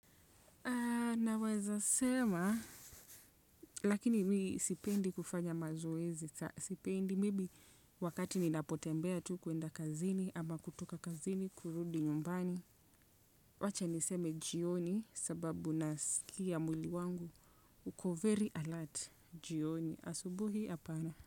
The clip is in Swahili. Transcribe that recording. Naweza sema lakini mimi sipendi kufanya mazoezi sana. Sipendi, maybe wakati ni napotembea tu kwenda kazini ama kutoka kazini kurudi nyumbani. Wacha niseme jioni sababu nasikia mwili wangu. Ukovery alert, jioni. Asubuhi apana.